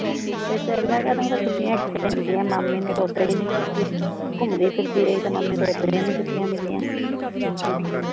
ਫਿਰ ਤਾਂ ਅਗਲਾ ਕਹਦੇ ਛੁੱਟੀਆ ਕਿੱਥੇ ਪੈਂਦੀਆ ਮਾਮੇ ਨੂ ਤਾਂ ਓਦਾ ਹੀਂ ਨੀ ਛੁੱਟੀਆ ਘੁਮਦੀ ਫਿਰਦੀ ਰਹੀ ਤਾਂ ਮੰਮੀ ਨੂ ਤਾਂ ਓਦਦਰੋਂ ਹੀਂ ਨੀ ਛੁੱਟੀਆ ਮਿਲੀਆ